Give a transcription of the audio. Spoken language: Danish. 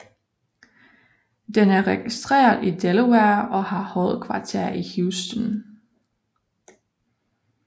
Den er registreret i Delaware og har hovedkvarter i Houston